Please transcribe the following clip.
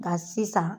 Nka sisan